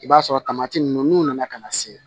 I b'a sɔrɔ ninnu n'u nana ka na se